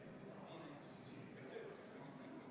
Seaduse kohaselt kehtivad erandid kuni 3. detsembrini 2019.